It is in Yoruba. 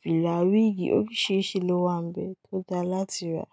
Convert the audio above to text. fìlà, wíìgì, oríṣìíríṣìí lówà níbẹ̀ tó dára láti rà.